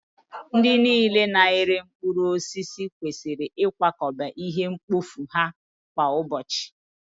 Ndị niile na-ere mkpụrụ osisi kwesịrị ịkwakọba ihe mkpofu ha kwa ụbọchị!